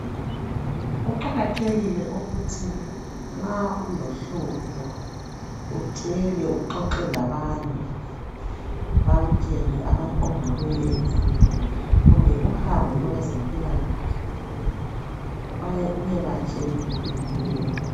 Kuqakathekile ukuthi nxa ulohlupho utshele uxoxe labanye bakutshele ongakwenza kumbe uhambe kwabezempilakahle uyebatshela.